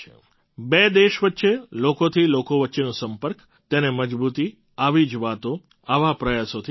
બે દેશો વચ્ચે લોકોથી લોકો વચ્ચેનો સંપર્ક તેને મજબૂતી આવી જ વાતો આવા પ્રયાસોથી મળે છે